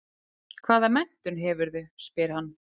Hvaða menntun hefurðu, spyr hann.